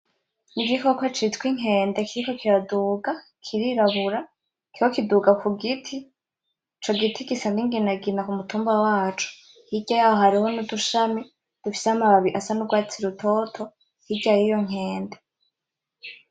N"igikoko citwa inkende kiriko kiraduga kirirabura kiriko kiduga kugiti ico giti gisa n'inginagina kumutumba waco hirya yaho hariho n'udushami dufise amababi asanugwatsi hirya yiyo nkende.